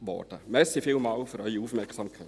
Vielen Dank für die Aufmerksamkeit.